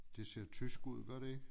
Det ser tysk ud gør det ikke